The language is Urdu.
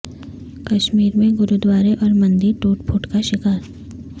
کشمیر میں گردوارے اور مندر ٹوٹ پھوٹ کا شکار